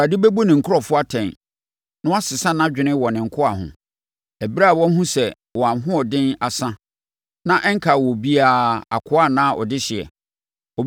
Awurade bɛbu ne nkurɔfoɔ atɛn na wasesa nʼadwene wɔ ne nkoa ho, Ɛberɛ a wahunu sɛ wɔn ahoɔden asa, na ɛnkaa obiara, akoa anaa ɔdehyeɛ.